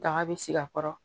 Daga bɛ sigi a kɔrɔ